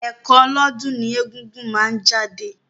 Ẹ̀kan lọ́dún ni egúngún máa ń jáde.